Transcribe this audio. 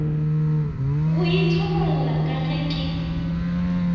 go ithobolla ka ge ke